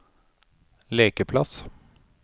lekeplass